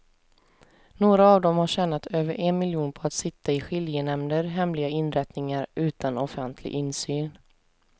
Några av dem har tjänat över en miljon på att sitta i skiljenämnder, hemliga inrättningar utan offentlig insyn.